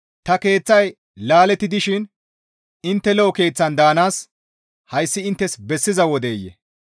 «Ta keeththay laaletti dishin intte lo7o keeththan daanaas hayssi inttes bessiza wodeyee?»